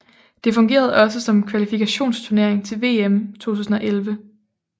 Det fungerede også som kvalifikationsturnering til VM 2011